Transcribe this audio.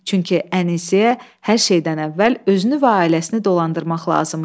Çünki Ənisə hər şeydən əvvəl özünü və ailəsini dolandırmaq lazım idi.